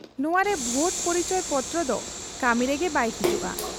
ᱱᱚᱶᱟᱨᱮ vote ᱯᱚᱨᱤᱪᱚᱭ ᱯᱚᱛᱨᱚᱫᱚ ᱠᱟᱹᱢᱤᱨᱮᱜᱮ ᱵᱟᱭ ᱦᱤᱡᱩᱜ ᱟ ᱾